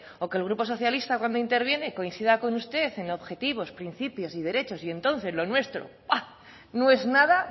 o que el grupo socialista cuando interviene coincida con usted en objetivos principios y derechos y entonces lo nuestro no es nada